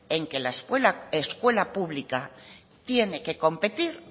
en que la escuela pública tiene que competir